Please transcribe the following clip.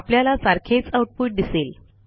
आपल्याला सारखेच आउटपुट दिसेल